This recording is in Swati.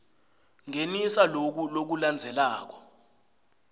ngenisa loku lokulandzelako